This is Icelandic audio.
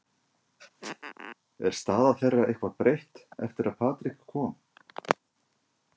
Er staða þeirra eitthvað breytt eftir að Patrick kom?